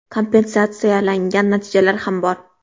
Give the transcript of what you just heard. Kompensatsiyalangan natijalar ham bor.